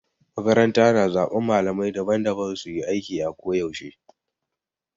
Makaranta na zaben malamai daban-daban su yi aiki a ko yaushe.